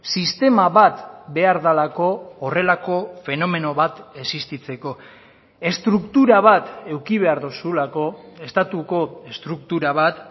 sistema bat behar delako horrelako fenomeno bat existitzeko estruktura bat eduki behar duzulako estatuko estruktura bat